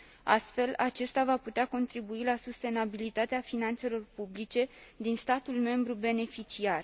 Astfel, acesta va putea contribui la sustenabilitatea finanțelor publice din statul membru beneficiar.